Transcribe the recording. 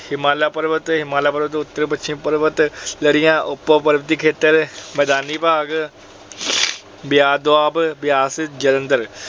ਹਿਮਾਲਿਆ ਪਰਬਤ ਅਤੇ ਹਿਮਾਲਿਆ ਪਰਬਤ ਦੇ ਉੱਤਰ ਪੱਛਮੀ ਪਰਬਤ ਲੜੀਆਂ, ਉਪ-ਪਰਬਤੀ ਖੇਤਰ ਖੇਤਰ, ਮੈਦਾਨੀ ਭਾਗ। ਬਿਆਸ ਦੁਆਬ, ਬਿਆਸ ਜਲੰਧਰ